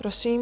Prosím.